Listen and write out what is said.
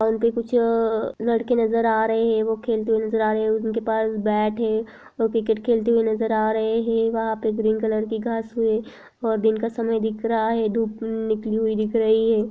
और भी कुछ अ लड़के नजर आ रहे है वो खेलते हुए नजर आ रहे है उनके पास बेट है वो क्रिकेट खेलते हुए नजर आ रहे है वहाँ पे ग्रीन कलर की घास है और दिन का समय दिख रहा है धूप निकली हुई दिख रही है।